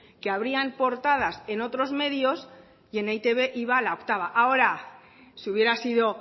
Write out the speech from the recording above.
que abrían portadas en otros medios y en e i te be iba la octava ahora si hubiera sido